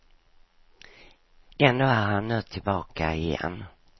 Ändå är han nu tillbaka igen.